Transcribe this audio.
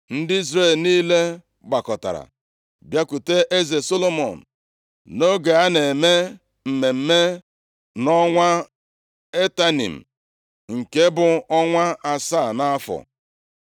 Ndị Izrel niile gbakọtara bịakwute eze Solomọn nʼoge a na-eme mmemme nʼọnwa Etanim + 8:2 Ọnwa Etanim, bụ ihe dị ka ọnwa itoolu, ma ọ bụkwanụ ọnwa iri ndị Juu. nke bụ ọnwa asaa nʼafọ.